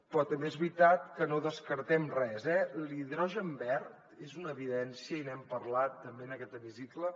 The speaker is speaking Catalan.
però també és veritat que no descartem res eh l’hidrogen verd és una evidència i n’hem parlat també en aquest hemicicle